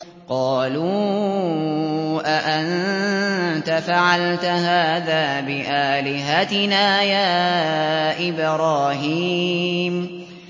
قَالُوا أَأَنتَ فَعَلْتَ هَٰذَا بِآلِهَتِنَا يَا إِبْرَاهِيمُ